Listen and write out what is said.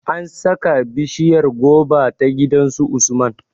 An sa ka bishiryar goba ta gidan su Usman